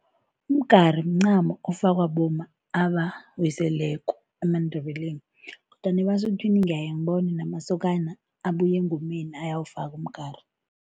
Umgari mncamo ofakwa bomma abawiseleko emaNdebeleni kodwana ebaSuthwini ngiyebona namasokana abuya engomeni ayawufaka umgari.